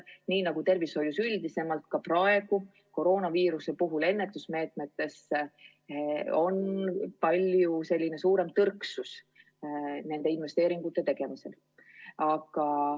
Nii nagu tervishoius üldisemalt, tõrgutakse ka praegu koroonaviiruse puhul ennetusmeetmetesse investeeringuid tegemast.